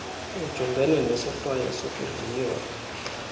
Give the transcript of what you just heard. ujungene nesohlwayo sokudliwa